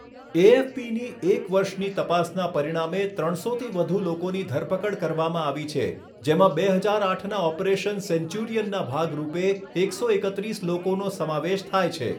એએફપીની એક વર્ષની તપાસના પરિણામે ત્રણસોથી વધુ લોકોની ધરપકડ કરવામાં આવી છે, જેમાં બે હજાર આઠના ઓપરેશન સેન્ચુરિયનના ભાગ રૂપે એકસો એકત્રીસ લોકોનો સમાવેશ થાય છે.